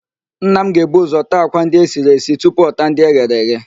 Nna m ga-ebu ụzọ taa àkwá ndị esiri esi tupu ọ taa ndị eghere eghe